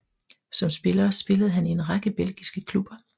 Som spiller spillede han i en række belgiske klubber